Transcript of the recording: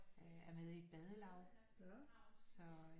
Øh er med i et badelaug så